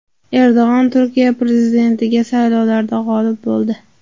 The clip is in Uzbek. Erdo‘g‘on Turkiya prezidentligiga saylovlarda g‘olib bo‘ldi.